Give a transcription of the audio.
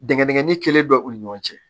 Dingɛn digɛnni kelen bɛ u ni ɲɔgɔn cɛ